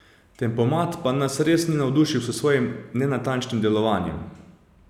Tempomat pa nas res ni navdušil s svojim nenatančnim delovanjem.